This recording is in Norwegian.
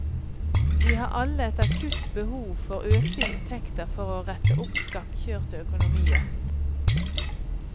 De har alle et akutt behov for økte inntekter for å rette opp skakkjørte økonomier.